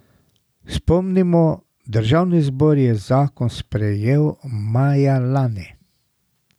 Spomnimo, državni zbor je zakon sprejel maja lani.